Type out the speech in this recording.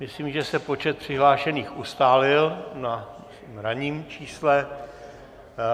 Myslím, že se počet přihlášených ustálil na ranním čísle.